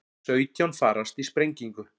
Sautján farast í sprengingu